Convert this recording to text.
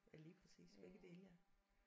Ja lige præcis begge dele ja